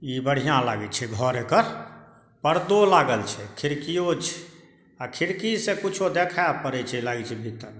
इ बढ़िया लागे छै घर एकड़ परदो लागल छै खिड़कियों छै अ खिड़की से कुछो देखाय पड़य छै लागे छै भीतर--